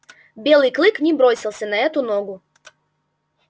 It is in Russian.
белый клык не бросился на эту ногу